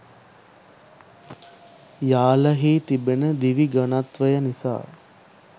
යාල හි තිබෙන දිවි ඝනත්වය නිසා